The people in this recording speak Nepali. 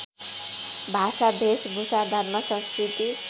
भाषा भेषभूषा धर्मसंस्कृति